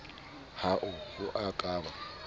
hoa ho a ka ba